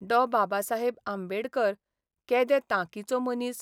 डॉ बाबासाहेब आंबेडकर केदे तांकीचो मनीस !